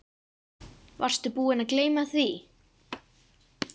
Varstu búinn að gleyma því?